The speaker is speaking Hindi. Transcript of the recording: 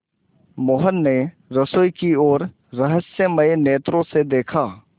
मोहन ने रसोई की ओर रहस्यमय नेत्रों से देखा